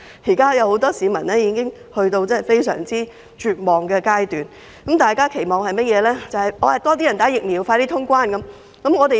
很多市民現已處於非常絕望的階段，只能期望有更多人接種疫苗，以便盡快通關。